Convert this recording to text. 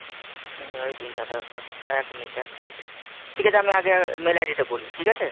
তিনজনেরই তিনটে আধার card এক minute এক minute ঠিক আছে আমি আগে mail ID ta বলি ঠিক আছে?